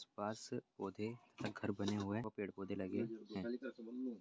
आस-पास पौधें घर बने हुए हैऔर पेड़-पौधे लगे हैं।